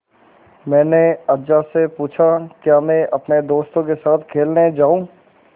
मैंने अज्जा से पूछा क्या मैं अपने दोस्तों के साथ खेलने जाऊँ